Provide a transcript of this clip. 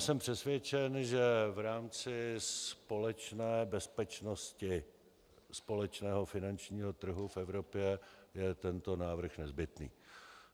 Jsem přesvědčen, že v rámci společné bezpečnosti společného finančního trhu v Evropě je tento návrh nezbytný.